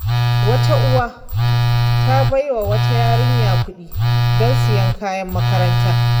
Wata uwa ta bai wa wata yarinya kuɗi don siyan kayan makaranta.